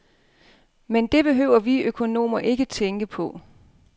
Men det behøver vi økonomer ikke tænke på.